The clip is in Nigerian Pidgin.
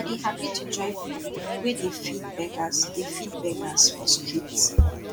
i dey hapi to join pipu wey dey feed beggers dey feed beggers for street